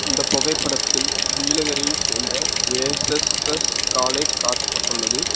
இந்த புகைப்படத்தில் நீலகிரி சேர்ந்த ஜே_சஸ்_சஸ் காலேஜ் காட்டப்பட்டுள்ளது.